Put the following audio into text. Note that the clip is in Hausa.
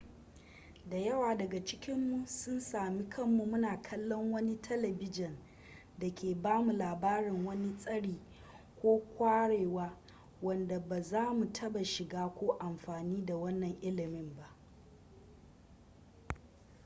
da yawa daga cikinmu sun sami kanmu muna kallon wani talibijin da ke ba mu labarin wani tsari ko ƙwarewa wanda ba za mu taɓa shiga ko amfani da wannan ilimin ba